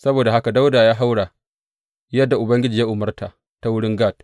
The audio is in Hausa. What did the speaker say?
Saboda haka Dawuda ya haura, yadda Ubangiji ya umarta ta wurin Gad.